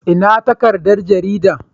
Ina takardar garida?